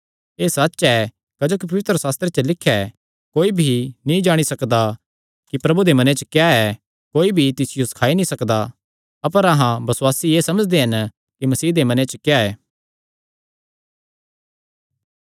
एह़ सच्च ऐ क्जोकि पवित्रशास्त्रे च लिख्या ऐ कोई भी नीं जाणी सकदा कि प्रभु दे मने च क्या ऐ कोई भी तिसियो सखाई नीं सकदा अपर अहां बसुआसी एह़ समझदे हन कि मसीह दे मने च क्या ऐ